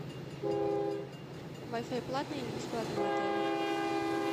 вай фай платный или бесплатный в отеле